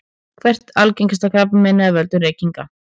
hvert er algengasta krabbameinið af völdum reykinga